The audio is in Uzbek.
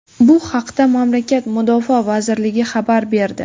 Bu haqda mamlakat Mudofaa vazirligi xabar berdi.